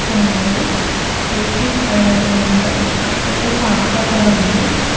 అక్కడ అన్నారు స్కూటీ పైనా ఒకరు ఉన్నారు అక్కడే ఒక ఆటో కూడా ఉంది .